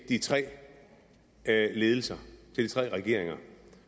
de tre ledelser til de tre regeringer